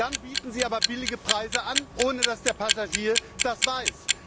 Dann bieten sie aber billige Preise an, ohne dass der Passagier das weiß.